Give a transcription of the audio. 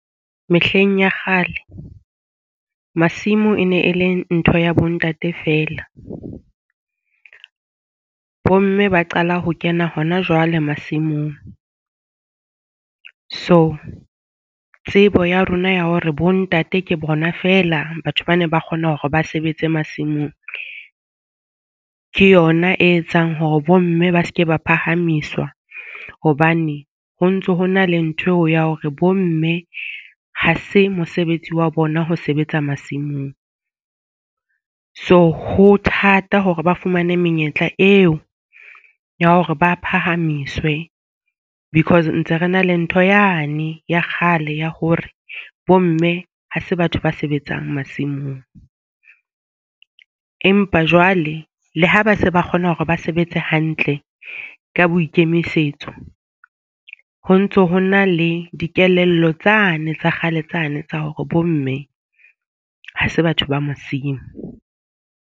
Mehleng ya kgale masimo e ne e le ntho ya bo ntate feela, bo mme ba qala ho kena hona jwale masimong. So, tsebo ya rona ya hore bontate ke bona feela. Batho ba ne ba kgona hore ba sebetse masimong ke yona e etsang hore bo mme ba seke ba phahamiswa. Hobane ho ntso ho na le ntho eo ya hore bomme ha se mosebetsi wa bona ho sebetsa masimong. So, ho thata hore ba fumane menyetla eo ya hore ba phahamiswe. Because ntse re na le ntho yane ya kgale ya hore bo mme ha se batho ba sebetsang masimong. Empa jwale le ha ba se ba kgona hore ba sebetsa se hantle ka boikemisetso, ho ntso ho na le dikelello tsane tsa kgale tsane tsa hore bomme ha se batho ba masimo.